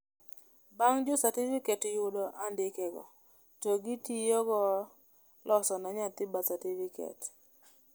bang jo certificate yudo adikego to gitiyogo loso ne nyathi birth certificate